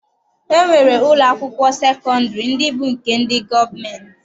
E nwere ụlọ akwụkwọ sekọndịrị ndị bụ nke ndị gọọmenti.